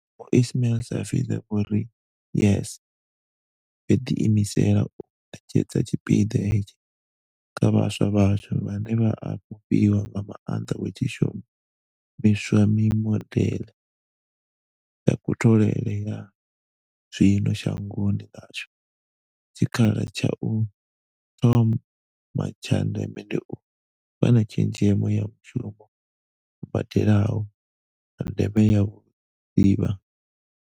Vho Ismail-Saville vho ri, YES yo ḓiimisela u ṋetshedza tshipiḓa hetsho kha vhaswa vhashu, vhane vha a fhufhiwa nga maanḓa hu tshi shumi swa mimodeḽe ya kutholele ya zwino shangoni ḽashu, tshikha la tsha u thoma tsha ndeme ndi u wana tshezhemo ya mushumo u badelaho, na ndeme ya vhudivha.